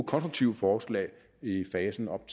konstruktive forslag i i fasen op